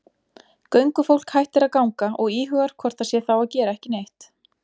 Göngufólk hættir að ganga og íhugar hvort það sé þá að gera ekki neitt.